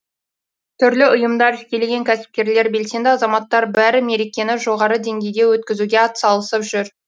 түрлі ұйымдар жекелеген кәсіпкерлер белсенді азаматтар бәрі мерекені жоғары деңгейде өткізуге ат салысып жүр